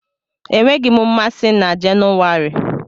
Enweghị m mmasị na Jenuwari